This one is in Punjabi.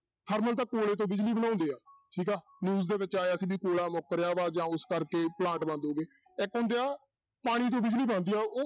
ਥਰਮਲ ਤਾਂ ਕੋਲੇ ਤੋਂ ਬਿਜ਼ਲੀ ਬਣਾਉਂਦੇ ਆ ਠੀਕ ਆ news ਦੇ ਵਿੱਚ ਆਇਆ ਸੀ ਵੀ ਕੋਲਾ ਮੁੱਕ ਰਿਹਾ ਵਾ ਜਾਂ ਉਸ ਕਰਕੇ ਪਲਾਂਟ ਬੰਦ ਹੋ ਗਏ ਇੱਕ ਹੁੰਦੇ ਆ, ਪਾਣੀ ਤੋਂ ਬਿਜ਼ਲੀ ਬਣਦੀ ਆ ਉਹ